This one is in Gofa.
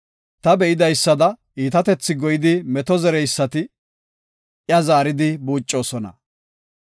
Ta be7idaysada, iitatethi goyidi meto zereysati, iya zaaridi buucana.